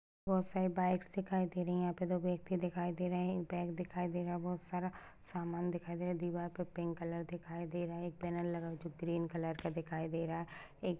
बहुत सारी बाइक्स दिखाई दे रही है यहा पे दो बेग भी दिखाई दे रहे है एक बेग दिखाई दे रहा है बहुत सारा सामान दिखाई दे रहा है दीवार पे पिंक कलर दिखाई दे रहा है एक पेनल लगा हुआ है जो ग्रीन कलर दिखाई दे रहा है एक --